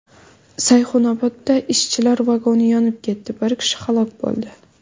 Sayxunobodda ishchilar vagoni yonib ketdi, biri kishi halok bo‘ldi.